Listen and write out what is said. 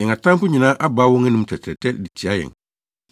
“Yɛn atamfo nyinaa abaa wɔn anom tɛtrɛɛ de tia yɛn.